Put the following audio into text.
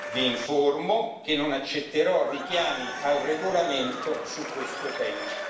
Vi informo che non accetterò richiami al regolamento su questo tema.